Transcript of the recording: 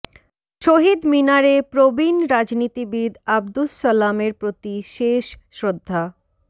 শহীদ মিনারে প্রবীণ রাজনীতিবিদ আবদুস সালামের প্রতি শেষ শ্রদ্ধা